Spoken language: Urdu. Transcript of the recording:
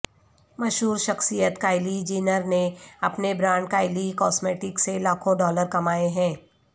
مشہور شخصیت کائیلی جینر نے اپنے برانڈ کائیلی کاسمیٹکس سے لاکھوں ڈالر کمائے ہیں